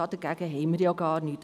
Dagegen haben wir gar nichts.